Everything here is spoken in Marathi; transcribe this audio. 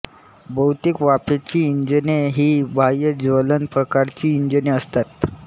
बहुतेक वाफेची इंजिने ही बाह्य ज्वलन प्रकारची इंजिने असतात